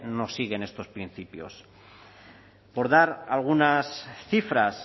no siguen estos principios por dar algunas cifras